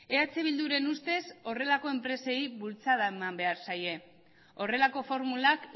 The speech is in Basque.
eh bilduren ustez horrelako enpresei bultzada eman behar zaie horrelako formulak